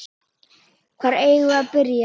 Hvar eigum við að byrja?